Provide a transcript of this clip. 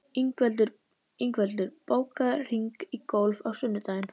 Ingveldur, bókaðu hring í golf á sunnudaginn.